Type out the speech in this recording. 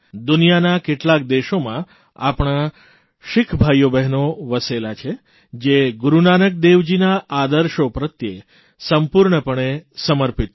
દુનિયાના કેટલાક દેશોમાં આપણા શીખ ભાઇઓ બહેનો વસેલા છે જે ગુરૂ નાનકદેવજીના આદર્શો પ્રત્યે સંપૂર્ણપણે સમર્પિત છે